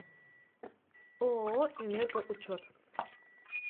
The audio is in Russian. ооо энергоучет